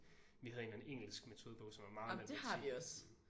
Vi havde en eller anden engelsk metodebog som var meget matematik